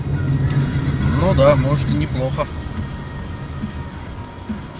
ну да может и неплохо